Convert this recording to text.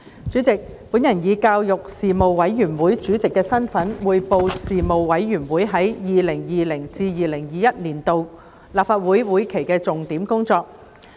主席，我以教育事務委員會主席的身份，匯報事務委員會在 2020-2021 年度立法會會期的重點工作。